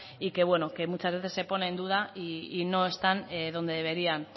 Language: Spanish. y que muchas veces se pone en duda y no están donde deberían